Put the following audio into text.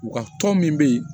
U ka tɔn min be ye